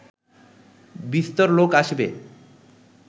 বিস্তর লোক আসিবে